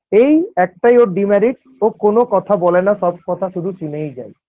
এই একটাই ওর demerit ও কোন কথা বলে না সব কথা শুধু শুনেই যায়।